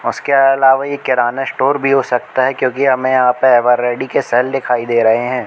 उसके अलावा ये किराना स्टोर भी हो सकता है क्योंकि हमें यहां पर एवर रेडी के शेल दिखाई दे रहे हैं।